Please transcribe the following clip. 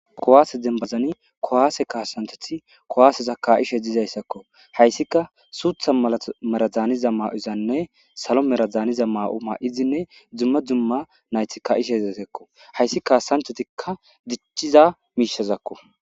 kowaase dembazani kowaase kaasantoti kowaaseza ka7ishe dizayssakko hayssika suutha alameradaaniza maa7uzanne salo meradaaniza maa7o maa7izinne dzumma dzumma nayti ka7ishezetekko hayssi kaasanthotikka dichiza miishazakko